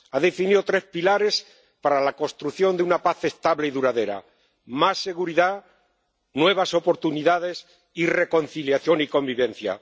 Ha definido tres pilares para la construcción de una paz estable y duradera más seguridad, nuevas oportunidades y reconciliación y convivencia.